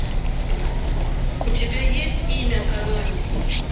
у тебя есть имя кармен